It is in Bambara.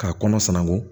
K'a kɔnɔ sanango